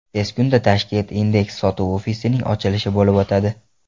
Tez kunda Tashkent Index sotuv ofisining ochilishi bo‘lib o‘tadi.